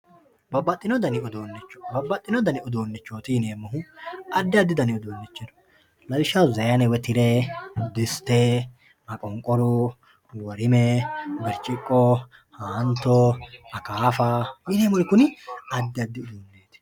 babbaxinno dani uduunicho babbaxinno dani uduunichooti yineemohuaddi addi dani uduunichi no lawishshaho sayiine woye tire, diste, maqonqoru, worime, birciqqo, haanto, akaafa yineemori kuri addi addi uduunichooti.